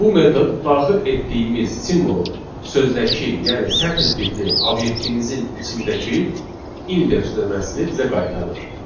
Bu metod daxil etdiyimiz simvolun sözdəki, yəni sətr tipli obyektimizin içindəki indeks nömrəsini bizə qaytarır.